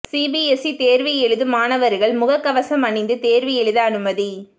CBSE தேர்வு எழுதும் மாணவர்கள் முகக் கவசம் அணிந்து தேர்வு எழுத அனுமதி